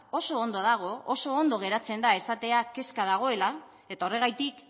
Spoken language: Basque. oso ondo dago oso ondo geratzen da esatea kezka dagoela eta horregatik